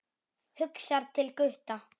Hugsar til Gutta.